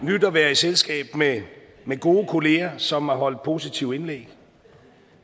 nydt at være i selskab med gode kollegaer som har holdt positive indlæg